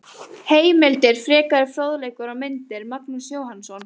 Heimildir, frekari fróðleikur og myndir: Magnús Jóhannsson.